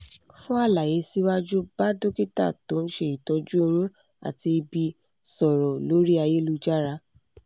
fún àlàyé síwájú bá dókítà tó ń ṣe ìtọ́jú oyún àti ìbí sọ̀rọ̀ lórí ayélujára